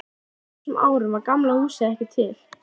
Á þessum árum var Gamla húsið ekki til.